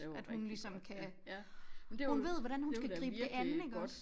At hun ligesom kan hun ved hvordan hun skal gribe det an iggås